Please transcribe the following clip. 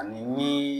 Ani ni